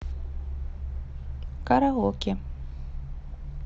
караоке